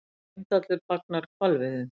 Heimdallur fagnar hvalveiðum